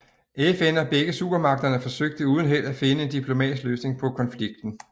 FN og begge supermagterne forsøgte uden held at finde en diplomatisk løsning på konflikten